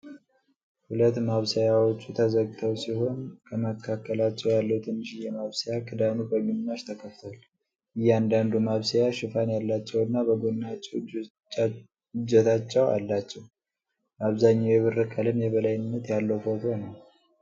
ሁለት ማብሰያዎቹ ተዘግተው ሲሆኑ፣ ከመካከላቸው ያለው ትንሽዬ ማብሰያ ክዳኑ በግማሽ ተከፍቷል። እያንዳንዱ ማብሰያ ሽፋን ያላቸውና በጎናቸው እጀታዎች አሏቸው። በአብዛኛው የብር ቀለም የበላይነት ያለው ፎቶ ነው።